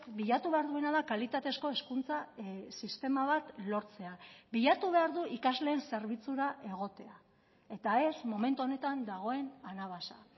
bilatu behar duena da kalitatezko hezkuntza sistema bat lortzea bilatu behar du ikasleen zerbitzura egotea eta ez momentu honetan dagoen anabasa